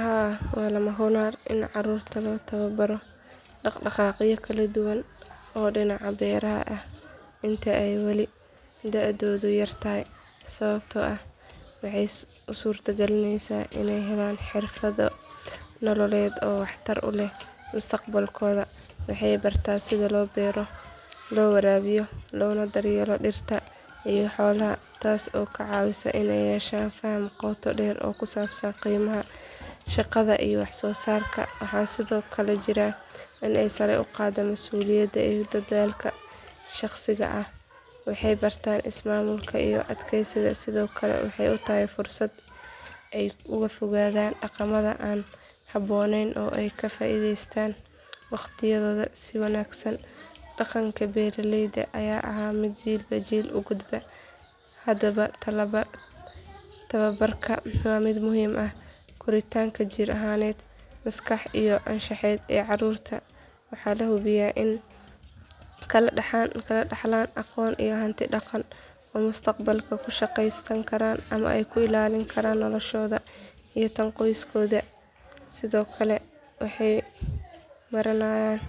Haa waa lama huraan in carruurta loo tababaro dhaq dhaqaaqyo kala duwan oo dhinaca beeraha ah inta ay wali da'doodu yar tahay sababtoo ah waxay u suurtagelinaysaa inay helaan xirfado nololeed oo waxtar u leh mustaqbalkooda waxay bartaan sida loo beero loo waraabiyo loona daryeelo dhirta iyo xoolaha taas oo ka caawisa inay yeeshaan faham qoto dheer oo ku saabsan qiimaha shaqada iyo wax soo saarka waxaa sidoo kale jirta in ay sare u qaaddo masuuliyadda iyo dadaalka shaqsiga ah waxay bartaan ismaamul iyo adkaysi sidoo kale waxay u tahay fursad ay uga fogaadaan dhaqamada aan habboonayn oo ay kaga faa'iidaystaan wakhtigooda si wanaagsan dhaqanka beeralayda ayaa ahaa mid jiilba jiil u gudba hadaba tababarkan waa mid muhiim u ah koritaanka jir ahaaneed maskaxeed iyo anshaxeed ee carruurta waxaana la hubaa inay ka dhaxlaan aqoon iyo hanti dhaqan oo ay mustaqbalka ku shaqaysan karaan ama ku ilaalin karaan noloshooda iyo tan qoyskooda sidoo kale waxay baranayaan